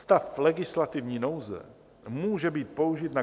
Stav legislativní nouze může být použit na